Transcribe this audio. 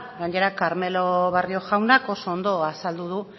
gainera karmelo barrio jaunak oso ondo azaldu du